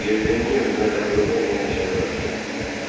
Bu Yelbey niyə özünə dəxli olmayan işlərə qarışır?